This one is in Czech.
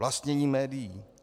Vlastnění médií.